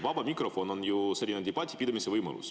Vaba mikrofon on ju debati pidamise võimalus.